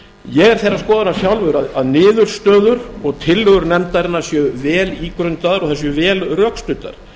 ég er þeirrar skoðunar sjálfur að niðurstöður og tillögur nefndarinnar séu vel ígrundaðar og þær séu vel rökstuddar